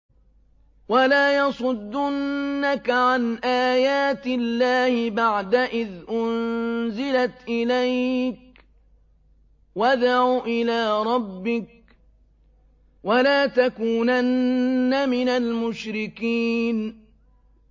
وَلَا يَصُدُّنَّكَ عَنْ آيَاتِ اللَّهِ بَعْدَ إِذْ أُنزِلَتْ إِلَيْكَ ۖ وَادْعُ إِلَىٰ رَبِّكَ ۖ وَلَا تَكُونَنَّ مِنَ الْمُشْرِكِينَ